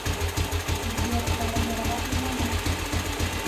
сбер разорвать звонок